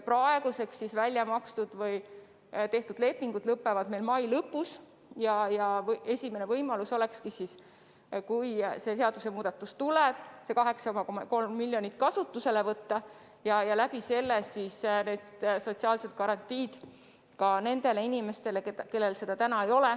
Praeguseks välja makstud või tehtud lepingud lõppevad meil mai lõpus ja juhul, kui see seadusemuudatus heaks kiidetakse, siis ongi võimalik see 8,3 miljonit eurot kasutusele võtta ning selle varal tagada sotsiaalsed garantiid ka nendele inimestele, kellel neid täna ei ole.